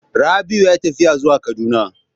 Rabiu yayi tafiya zuwa kaduna.